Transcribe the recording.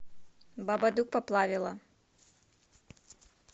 бабадук поплавило